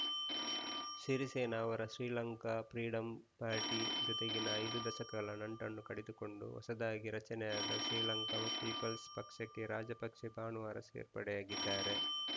ಸಿರಿಸೇನಾ ಅವರ Sri Lanka freedom party ಜೊತೆಗಿನ ಐದು ದಶಕಗಳ ನಂಟನ್ನು ಕಡಿದುಕೊಂಡು ಹೊಸದಾಗಿ ರಚನೆ ಆದ ಶ್ರೀಲಂಕಾ ಪೀಪಲ್ಸ್‌ ಪಕ್ಷಕ್ಕೆ ರಾಜಪಕ್ಸೆ ಭಾನುವಾರ ಸೇರ್ಪಡೆಯಾಗಿದ್ದಾರೆ